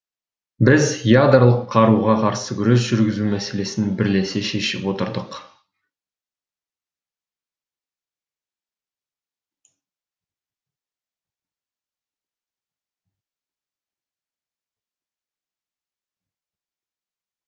біз ядролық қаруға қарсы күрес жүргізу мәселесін бірлесе шешіп отырдық